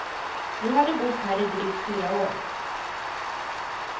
Nu har de bott här i drygt fyra år.